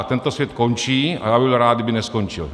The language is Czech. A tento svět končí a já bych byl rád, kdyby neskončil.